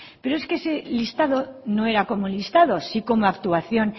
pero es que ese listado no era como listado sí como actuación